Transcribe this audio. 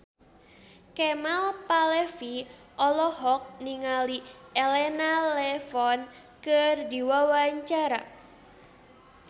Kemal Palevi olohok ningali Elena Levon keur diwawancara